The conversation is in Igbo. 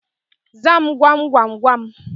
Zaa mu gwamgwamgwam